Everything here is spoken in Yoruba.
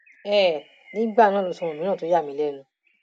um nígbà náà ló sọ ohun mìíràn tó yà mí lẹnu